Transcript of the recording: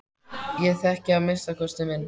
Ég þekki að minnsta kosti minn.